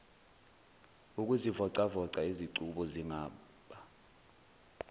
ukuzivocavoca izicubu zingaba